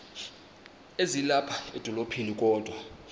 ezilapha edolophini kodwa